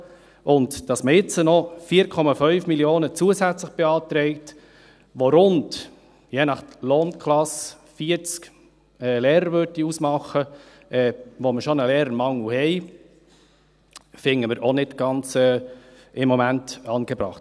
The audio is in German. Dass man jetzt noch 4,5 Mio. Franken zusätzlich beantragt, was je nach Lohnklasse 40 Lehrerstellen ausmachen würde – wo wir bereits einen Lehrermangel haben –, finden wir im Moment auch nicht ganz angebracht.